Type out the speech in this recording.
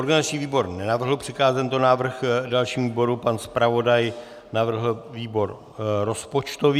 Organizační výbor nenavrhl přikázat tento návrh dalšímu výboru, pan zpravodaj navrhl výbor rozpočtový.